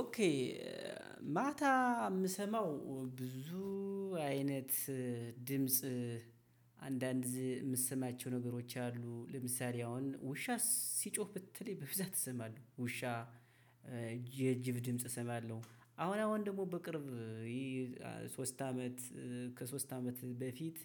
ኦኬ ማታ የምሰማው ብዙ አይነት ድምጽ አንዳንድ የምትሰማቸው ነገሮች አሉ። ለምሳሌ አሁን ውሻ ሲጮህ ብትለኝ በብዛት እሰማለሁ። ውሻ የጅብ ድምጽ እሰማለሁ። አሁን አሁን ደግሞ በቅርብ ሶስት አመት ከሶስት አመት በፊት